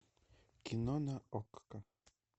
кино на окко